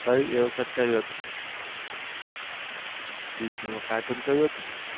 કઈ એ વખત કયું હતું disney માં Cartoon કયું હતું?